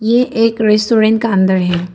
ये एक रेस्टोरेंट का अंदर है।